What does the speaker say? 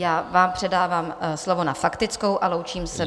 Já vám předávám slovo na faktickou a loučím se.